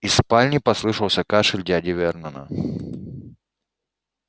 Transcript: из спальни послышался кашель дяди вернона